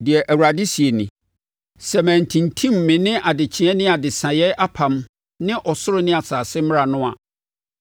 Deɛ Awurade seɛ nie: ‘Sɛ mantintim me ne adekyeɛ ne adesaeɛ apam ne ɔsoro ne asase mmara no a,